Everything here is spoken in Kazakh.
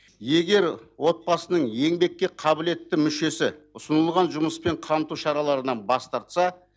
егер отбасының еңбекке қабілетті мүшесі ұсынылған жұмыспен қамту шараларынан бас тартса